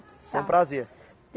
Foi um prazer.